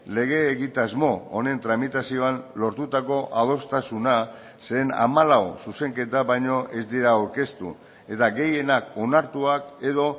lege egitasmo honen tramitazioan lortutako adostasuna zeren hamalau zuzenketa baino ez dira aurkeztu eta gehienak onartuak edo